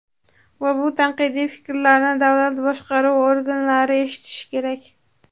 Va bu tanqidiy fikrlarni davlat boshqaruvi organlari eshitishi kerak.